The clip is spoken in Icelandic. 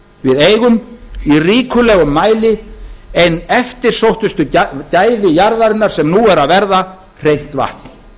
við eigum í ríkulegum mæli ein eftirsóttasta gæði jarðarinnar sem nú eru að verða hreint vatn